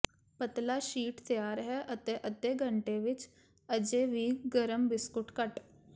ਪਤਲਾ ਸ਼ੀਟ ਤਿਆਰ ਹੈ ਅਤੇ ਅੱਧੇ ਵਿਚ ਅਜੇ ਵੀ ਗਰਮ ਬਿਸਕੁਟ ਕੱਟ